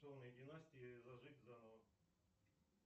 династии зажить заново